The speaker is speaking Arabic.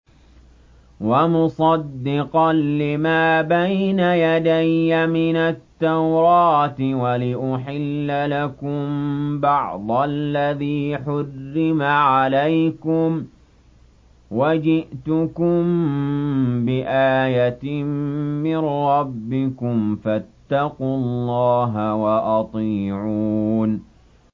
وَمُصَدِّقًا لِّمَا بَيْنَ يَدَيَّ مِنَ التَّوْرَاةِ وَلِأُحِلَّ لَكُم بَعْضَ الَّذِي حُرِّمَ عَلَيْكُمْ ۚ وَجِئْتُكُم بِآيَةٍ مِّن رَّبِّكُمْ فَاتَّقُوا اللَّهَ وَأَطِيعُونِ